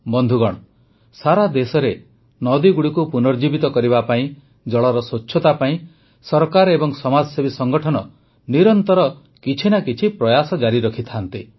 ବନ୍ଧୁଗଣ ସାରା ଦେଶରେ ନଦୀଗୁଡ଼ିକୁ ପୁନର୍ଜୀବିତ କରିବା ପାଇଁ ଜଳର ସ୍ୱଚ୍ଛତା ପାଇଁ ସରକାର ଏବଂ ସମାଜସେବୀ ସଂଗଠନ ନିରନ୍ତର କିଛି ନା କିଛି ପ୍ରୟାସ ଜାରି ରଖିଥାନ୍ତି